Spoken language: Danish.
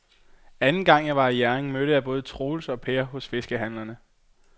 Anden gang jeg var i Hjørring, mødte jeg både Troels og Per hos fiskehandlerne.